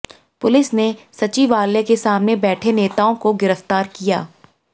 police ने सचिवालय के सामने बैठे नेताओं को गिरफ्तार किया